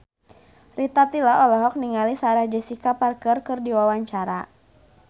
Rita Tila olohok ningali Sarah Jessica Parker keur diwawancara